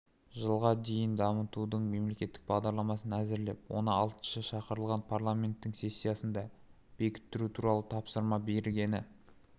жылға дейін дамытудың мемлекеттік бағдарламасын әзірлеп оны алтыншы шақырылған парламенттің сессиясында бекіттіру туралы тапсырма бергені